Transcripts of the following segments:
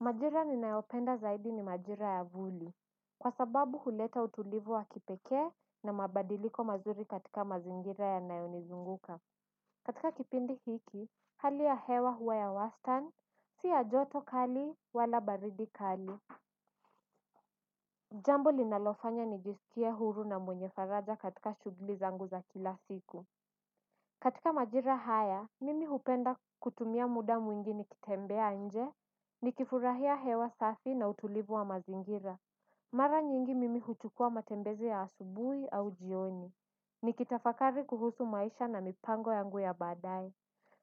Majira ninayopenda zaidi ni majira ya vuli. Kwa sababu huleta utulivu wa kipekee na mabadiliko mazuri katika mazingira yanayonizunguka. Katika kipindi hiki hali ya hewa huwa ya wastan siya joto kali wala baridi kali. Jambo linalofanya nijisikie huru na mwenye faraja katika shugli zangu za kila siku. Katika majira haya, mimi hupenda kutumia muda mwingi nikitembea nje, nikifurahia hewa safi na utulivu wa mazingira. Mara nyingi mimi huchukua matembezi ya asubuhi au jioni. Nikitafakari kuhusu maisha na mipango yangu ya badaye.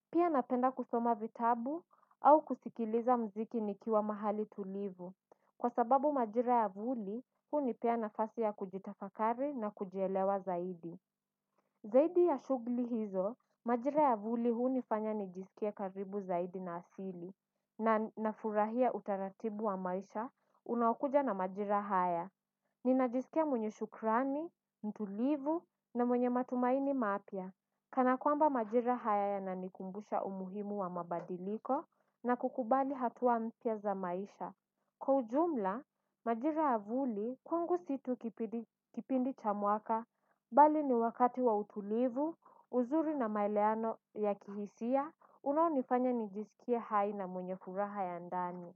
Pia napenda kusoma vitabu au kusikiliza mziki nikiwa mahali tulivu. Kwa sababu majira ya vuli, hunipea nafasi ya kujitafakari na kujielewa zaidi. Zaidi ya shugli hizo, majira ya vuli huu nifanya nijisikie karibu zaidi na asili, na nafurahia utaratibu wa maisha unao kuja na majira haya. Ninajisikia mwenye shukrani, mtulivu na mwenye matumaini mapya. Kana kwamba majira haya ya nanikumbusha umuhimu wa mabadiliko na kukubali hatuwa mpya za maisha. Kwa ujumla, majira avuli, kwangu situ kipindi cha mwaka, bali ni wakati wa utulivu, uzuri na maeleano ya kihisia, unaonifanya nijisikie hai na mwenye furaha ya ndani.